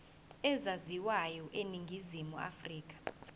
ezaziwayo eningizimu afrika